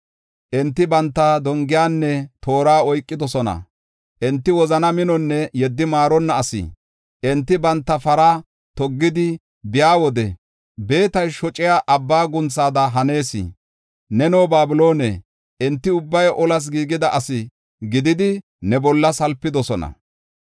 Enti banta dongiyanne toora oykidosona; enti wozana minonne yeddi maaronna asi. Enti banta para toggidi biya wode, beetay shociya abba guunthada hanees. Neno, Babiloone, enti ubbay olas giigida asi gididi ne bolla salpidosona.